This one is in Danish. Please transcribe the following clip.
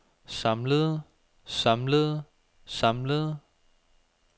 samlede samlede samlede